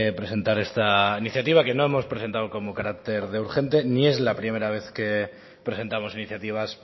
presentar esta iniciativa que no hemos presentado como carácter de urgente ni es la primera vez que presentamos iniciativas